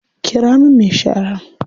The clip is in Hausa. Ƙira min me shara.